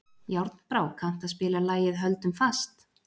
Járnbrá, kanntu að spila lagið „Höldum fast“?